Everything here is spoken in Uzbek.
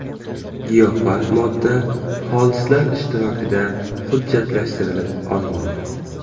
Giyohvand modda xolislar ishtirokida hujjatlashtirilib olingan.